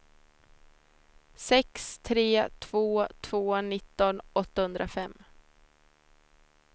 sex tre två två nitton åttahundrafem